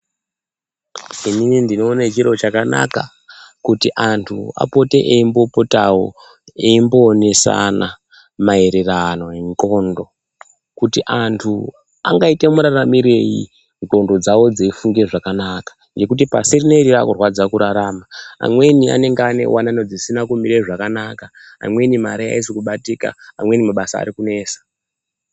Inini ndinoona chiro chakanaka kuti anthu apote eimbopotawo eimbowonesana maererano nendxondo kuti anthu angaite muraramirei ndxondo dzawo dzeifunge zvakanaka. Ngokuti pasi rineri rakurwadza kurarama amweni anenge ane wanano dzisina kumira zvakanaka, amweni mari aisi kubaitika, amweni mabasa ari kumesa.